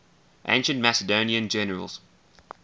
ancient macedonian generals